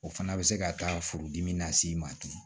O fana bɛ se ka taa furudimi nas'i ma ten